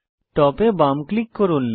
top এ বাম click করুন